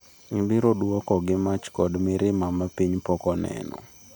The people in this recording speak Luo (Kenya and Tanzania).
"Ibiro duoko gi mach kod mirima ma piny pok oneno."""